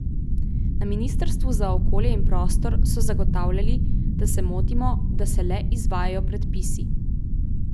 Na ministrstvu za okolje in prostor so zagotavljali, da se motimo, da se le izvajajo predpisi.